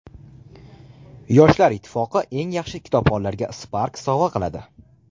Yoshlar ittifoqi eng yaxshi kitobxonlarga Spark sovg‘a qiladi.